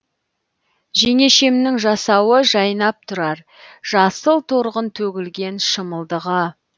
жеңешемнің жасауы жайнап тұрар жасыл торғын төгілген шымылдығы